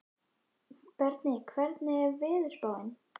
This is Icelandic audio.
Berni, hvernig er veðurspáin?